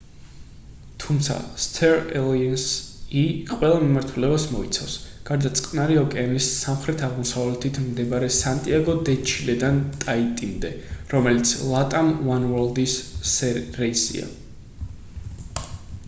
თუმცა star alliance-ი ყველა მიმართულებას მოიცავს გარდა წყნარი ოკეანის სამხრეთ-აღმოსავლეთით მდებარე სანტიაგო დე ჩილედან ტაიტიმდე რომელიც latam oneworld-ის რეისია